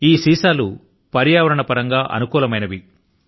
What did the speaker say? ఈ సీసా లు పర్యావరణ పరంగా అనుకూలమైనవి